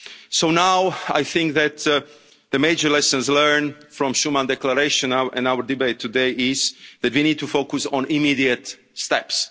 of jobs. So now I think that the major lessons learned from the Schuman Declaration in our debate today are that we need to focus on immediate